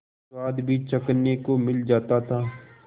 स्वाद भी चखने को मिल जाता था